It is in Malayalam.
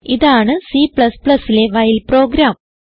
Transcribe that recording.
ഇതാണ് Cലെ വൈൽ പ്രോഗ്രാം